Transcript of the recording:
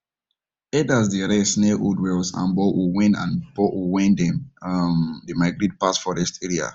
herders dey rest near old wells and boreholes wen and boreholes wen them um dey migrate pass forest area